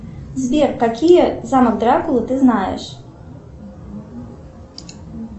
сбер какие замок дракулы ты знаешь